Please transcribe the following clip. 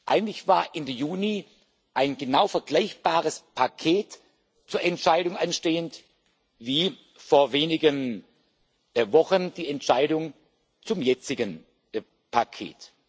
Eigentlich war Ende Juni ein genau vergleichbares Paket zur Entscheidung anstehend wie vor wenigen Wochen die Entscheidung zum jetzigen Paket.